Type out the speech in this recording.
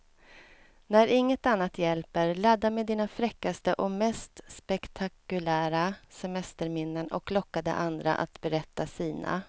När inget annat hjälper, ladda med dina fräckaste och mest spektakulära semesterminnen och locka de andra att berätta sina.